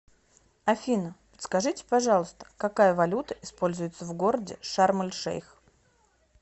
афина подскажите пожалуйста какая валюта используется в городе шарм эль шейх